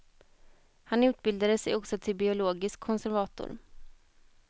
Han utbildade sig också till biologisk konservator.